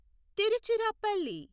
Tiruchirappalli